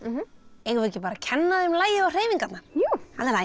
eigum við ekki bara að kenna þeim lagið og hreyfingarnar jú